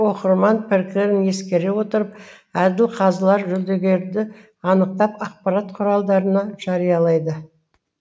оқырман пікірін ескере отырып әділ қазылар жүлдегерді анықтап ақпарат құралдарында жариялайды